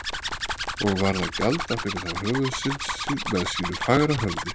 Og varð að gjalda fyrir þá höfuðsynd með sínu fagra höfði.